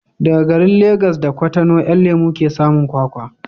Daga garin Legas da Kutonu 'Yan lemo ke samun kwakwa